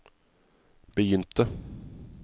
begynte